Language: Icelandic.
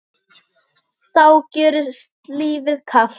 þá gjörist lífið kalt.